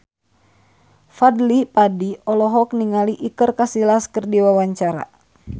Fadly Padi olohok ningali Iker Casillas keur diwawancara